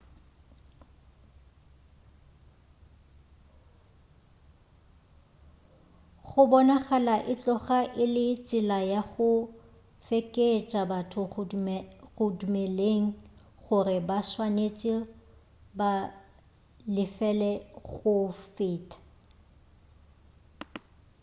go bonagala e tloga e le tsela ya go fekeetša batho go dumeleng gore ba swanetše ba lefel go feta